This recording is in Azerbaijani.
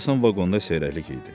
İnsan vaqonda seyrəklik idi.